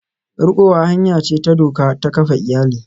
Rikowa hanya ce ta doka ta kafa iyali.